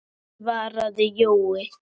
svaraði Jói.